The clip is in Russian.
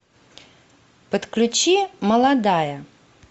подключи молодая